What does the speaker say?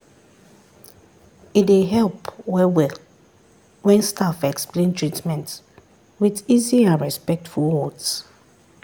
e dey help well well when staff explain treatment with easy and respectful words.